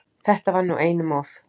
Þetta var nú einum of!